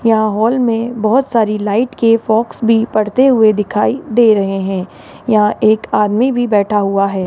यहां हॉल में बहोत सारी लाइट के फाग्स भी पड़ते हुए दिखाई दे रहे हैं यहां एक आदमी भी बैठा हुआ है।